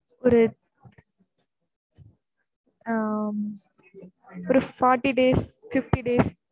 ஒரு ஆம் ஒரு forty days fifty days